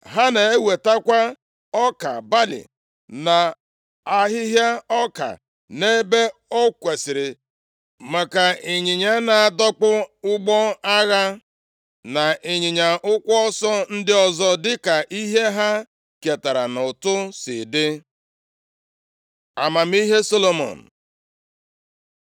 Ha na-ewetakwa ọka balị na ahịhịa ọka nʼebe o kwesiri, maka ịnyịnya na-adọkpụ ụgbọ agha na ịnyịnya ụkwụ ọsọ ndị ọzọ dịka ihe ha ketara nʼụtụ si dị. Amamihe Solomọn